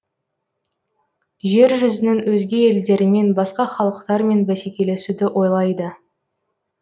жер жүзінің өзге елдерімен басқа халықтармен бәсекелесуді ойлайды